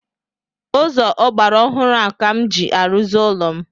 Ụzọ ọgbaraọhụrụ ka m ji arụzi ụlọ m